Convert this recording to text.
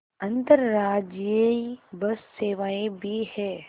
अंतर्राज्यीय बस सेवाएँ भी हैं